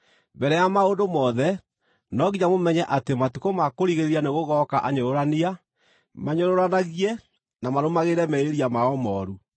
Mbere ya maũndũ mothe, no nginya mũmenye atĩ matukũ ma kũrigĩrĩria nĩgũgooka anyũrũrania, manyũrũranagie na marũmagĩrĩre merirĩria mao mooru.